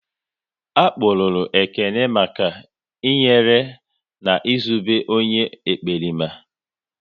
A kpụrụru Ekene maka i nyere na Ị zobe onye ekperima